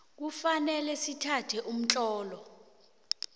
kufanele sithathe umtlolo